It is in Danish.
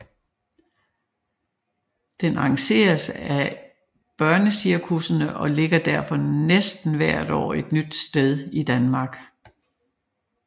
Den arrangeres af et af børnecirkussene og ligger derfor næsten hvert år et nyt sted i Danmark